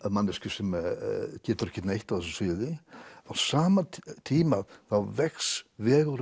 manneskju sem getur ekki neitt á þessu sviði á sama tíma þá vex vegur